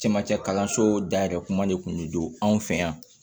Camancɛ kalanso dayɛlɛ kuma de kun bɛ don anw fɛ yan